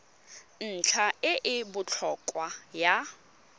ntlha e e botlhokwa ya